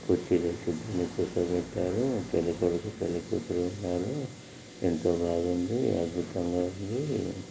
కుర్చీలు వేసారు పెళ్లి కొడుకు పెళ్లి కూతురు ఉన్నారు ఎంతో బాగుంది అద్భుతంగా ఉందని --